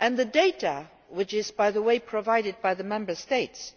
The data which is provided by the Member States